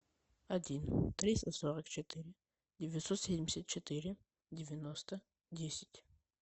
один триста сорок четыре девятьсот семьдесят четыре девяносто десять